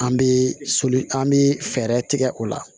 An bɛ soli an bɛ fɛɛrɛ tigɛ o la